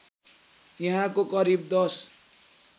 यहाँको करिब १०